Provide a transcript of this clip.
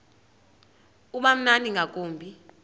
uba mnandi ngakumbi